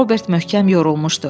Robert möhkəm yorulmuşdu.